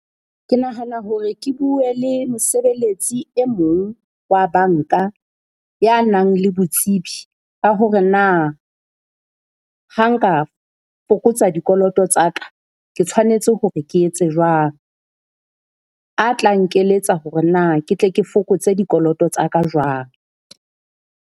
Ke nahana hore ke bue le mosebeletsi e mong wa banka ya nang le botsebi, ka hore na ha nka fokotsa dikoloto tsa ka, ke tshwanetse hore ke etse jwang? A tla nkeletsa hore na ke tle ke fokotse dikoloto tsa ka jwang.